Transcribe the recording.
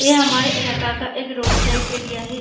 ये हमारे इलाका का एक रोड साइड एरिया है।